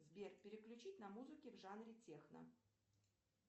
сбер переключить на музыке в жанре техно